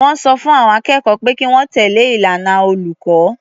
Wọ́n sọ fún àwọn akẹ́kọ̀ọ́ pé kí wọ́n tẹ̀lé ìlànà olùkọ́.